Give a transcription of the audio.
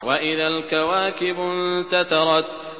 وَإِذَا الْكَوَاكِبُ انتَثَرَتْ